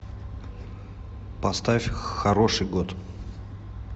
поставь хороший год